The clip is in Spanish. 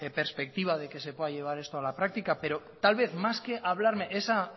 perspectiva de que se pueda llevar esto a la práctica pero tal vez más que hablarme esa